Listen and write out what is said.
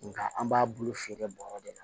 Nga an b'a bulu feere bɔrɔ de la